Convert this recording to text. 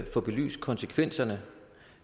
få belyst konsekvenserne